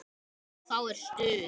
Þá er stuð.